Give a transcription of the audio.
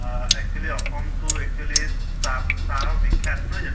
অহ actually Assam টো actually চাহ ব চাহৰ বিখ্য়াত, নহয় জানো?